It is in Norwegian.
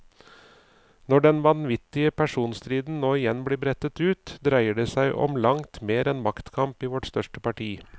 Når den vanvittige personstriden nå igjen blir brettet ut, dreier det som om langt mer enn maktkamp i vårt største parti.